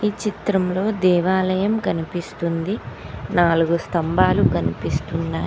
చిత్రంలో దేవాలయం కనిపిస్తుంది నాలుగు స్తంభాలు కనిపిస్తున్నాయ్.